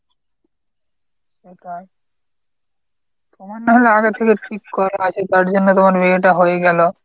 সেটাই। তোমার নাহলে আগে থেকে ঠিক করা আছে তার জন্য তোমার বিয়েটা হয়ে গেল।